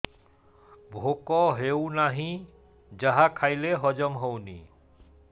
ଭୋକ ହେଉନାହିଁ ଯାହା ଖାଇଲେ ହଜମ ହଉନି